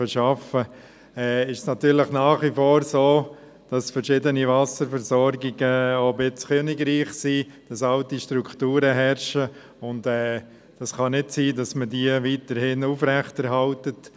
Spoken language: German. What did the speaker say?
Gewisse Wasserversorgungen sind nach wie vor eine Art Königreich mit alten Strukturen, und es kann nicht sein, dass diese weiterhin aufrechterhalten werden.